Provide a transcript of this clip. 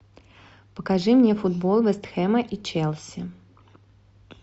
покажи мне футбол вест хэма и челси